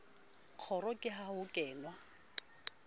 kgoro ke ha ho kenwa